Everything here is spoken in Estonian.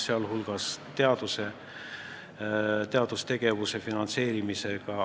Nii on ka teadustegevuse finantseerimisega.